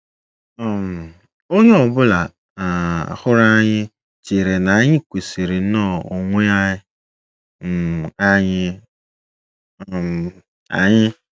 um “ Onye ọ bụla um hụrụ anyị chere na anyị kwesịrị nnọọ onwe um anyị um anyị.